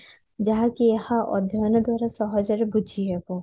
ଯାହାକି ଏହା ଅଧ୍ୟୟନ ଦ୍ଵାରା ସହଜ ରେ ବୁଝିହେବ